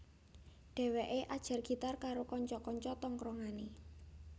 Dhewekè ajar gitar karo kanca kanca tongkronganè